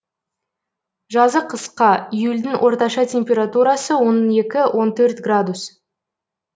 жазы қысқа июльдің орташа температурасы он екі он төрт градус